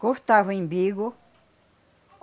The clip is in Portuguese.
Cortava o imbigo.